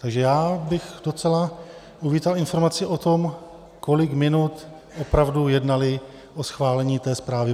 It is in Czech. Takže já bych docela uvítal informaci o tom, kolik minut opravdu jednali o schválení té zprávy.